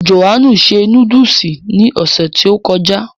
Jòhánù se núdùsì ní ọ̀sẹ̀ tí ó kọjá